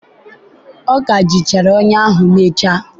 ọ ka jichara ọnyà ahụ mechaa.